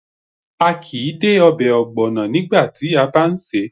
A kìí dé obè ògbònà nígbàti a bá n sèé